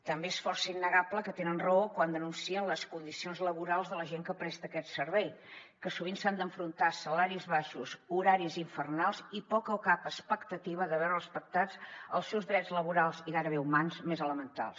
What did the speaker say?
també és força innegable que tenen raó quan denuncien les condicions laborals de la gent que presta aquest servei que sovint s’han d’enfrontar a salaris baixos horaris infernals i poca o cap expectativa de veure respectats els seus drets laborals i gairebé humans més elementals